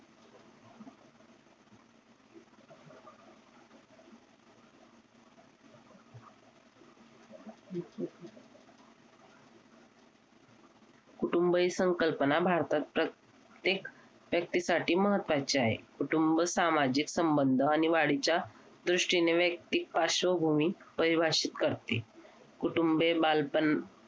कुटुंब ही संकल्पना भारतात प्र त्येक व्यक्तीसाठी महत्वाची आहे कुटुंब सामाजिक संबंध आणि वाढीच्या दृष्टीने वैयक्तिक पार्श्वभूमी परिभाषित करते कुटुंबीय बालपण